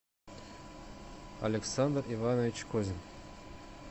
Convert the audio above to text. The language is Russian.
александр иванович козин